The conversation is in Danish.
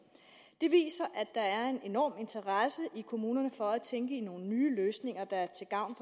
det viser at der er en enorm interesse i kommunerne for at tænke i nogle nye løsninger der er til gavn